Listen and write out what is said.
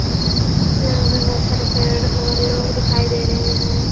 यहाँ पर बहुत सारे पेड़ और लोग दिखाई दे रहे हैं।